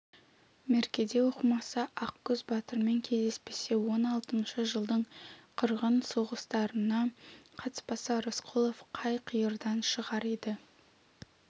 меркеде оқымаса ақкөз батырмен кездеспесе он алтыншы жылдың қырғын соғыстарына қатыспаса рысқұлов қай қиырдан шығар еді